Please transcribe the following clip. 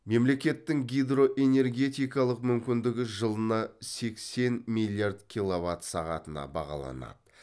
мемлекеттің гидроэнергетикалық мүмкіндігі жылына сексен миллиард киловат сағатына бағаланады